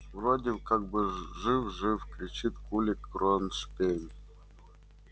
вроде как бы жив жив кричит кулик кронштейн